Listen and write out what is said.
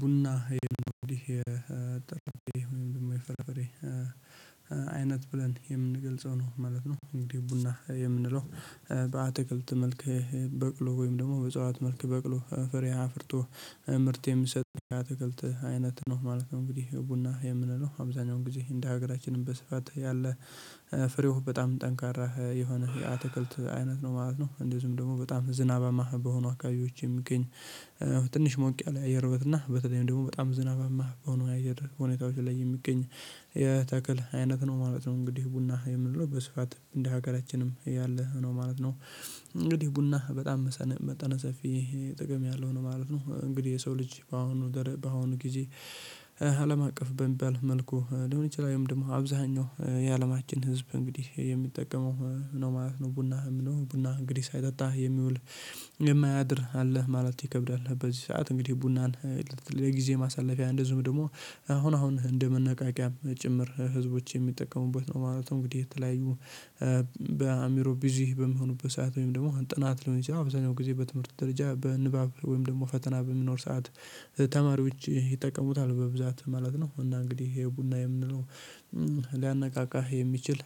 ቡና ይሄን ነው እንዴ የጠራበት የፍራፍሬ አይነት ብለን የምንገልጸው ነው ማለት ነው። እንግዲህ ቡና የምንለው በአትክልት መልክ በቅሎ ወይም ደግሞ በጸዋት መልክ በቅሎ ፍሬ አፍርቶ ምርት የሚሰጥ ኣትክልት አይነት ነው ማለት ነው። እንግዲህ ቡና የምንለው አብዛኛውን ጊዜ እንደ ሀገራችንም በስፋት ያለ ፍሬው በጣም ጠንካራ የሆነ የአትክልት አይነት ነው ማለት ነው። እንደዚሁም ደግሞ በጣም ዝናባማ በሆኑ አካባቢዎች የሚገኝ ትንሽ ሞቅ ያለ አየር ማትና በተለይም ደግሞ በጣም ዝናባማ የሆነ አየር ሁኔታዎች ላይ የሚገኝ የተክል አይነት ነው ማለት ነው። እንግዲህ ቡና የምንለው በስፋት እንደ ሀገራችንም ያለ ነው ማለት ነው። እንግዲህ ቡና በጣም መጠነ ሰፊ ጥቅም ያለው ነው ማለት ነው። እንግዲህ የሰው ልጅ በአሁኑ በአሁኑ ጊዜ አለም አቀፍ በሚባል መልኩ ሊሆን ይችላል ወይም ደግሞ አብዛኛው የአለማችን ህዝብ እንግዲህ የሚጠቀመው ነው ማለት ነው። ቡና የምለው ቡና እንግዲህ ሳይጠጣ የሚውል የማያድር አለ ማለት ይከብዳል። በዚህ ሰዓት እንግዲህ ቡናን ለጊዜ ማሳለፊያ እንደዚሁም ደግሞ አሁን አሁን እንደመነቃቂያም ጭምር ህዝቦች የሚጠቀሙበት ነው። ማለት እንግዲህ የተለያዩ በአእምሮ ቢዚ በሚሆኑበት ሰዓት ወይም ደግሞ ጥናት ሊሆን ይችላል ኣበዛኛው ጊዜ በትምህርት ደረጃ በንባብ ወይም ደግሞ ፈተና በሚኖር ሰዓት ተማሪዎች ይጠቀሙታል በብዛት ማለት ነው። እና እንግዲህ የቡና የምንለው ልያነቃቃ የሚችል